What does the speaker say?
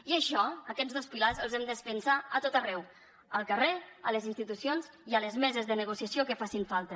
i això aquests dos pilars els hem de defensar a tot arreu al carrer a les institucions i a les meses de negociació que facin falta